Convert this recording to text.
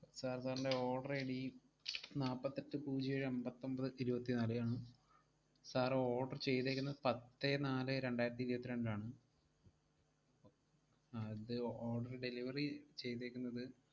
Sir, sir ൻറെ order ID നാപ്പത്തെട്ട്‍ പൂജ്യം ഏഴ് അമ്പത്തൊമ്പത് ഇരുവത്തിനാലേ ആണ്. sir order ചെയ്തേക്കുന്നെ പത്തേ നാലേ രണ്ടായിരത്തി ഇരുവത്തിരണ്ട് ആണ്. അത് order delivery ചെയ്തേക്കുന്നത്,